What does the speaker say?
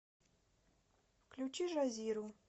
включи жазиру